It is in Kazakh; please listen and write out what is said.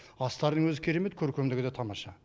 астарының өзі керемет көркемдігі де тамаша